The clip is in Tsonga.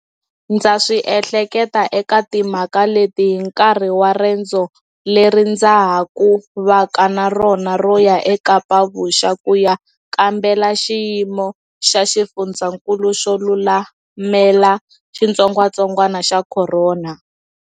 Ndza swi ehleketa eka timhaka leti hi nkarhi wa rendzo leri ndza ha ku va ka na rona ro ya eKapa-Vuxa ku ya kambela xiyimo xa xifundzankulu xo lulamela xitsongwatsongwana xa corona.